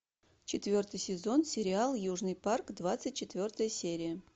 четвертый сезон сериал южный парк двадцать четвертая серия